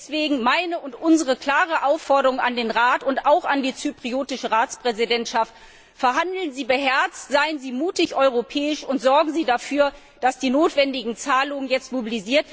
Deswegen meine und unsere klare Aufforderung an den Rat und auch an die zypriotische Ratspräsidentschaft Verhandeln Sie beherzt, seien Sie mutig europäisch und sorgen Sie dafür, dass die notwendigen Zahlungen jetzt erfolgen.